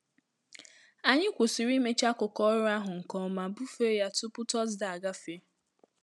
Anyị kwụsịrị imecha akụkọ ọrụ ahụ nke ọma bufe ya tupu tọzdee agafe